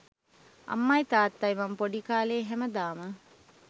අම්මයි තාත්තයි මම පොඩි කාලේ හැමදාම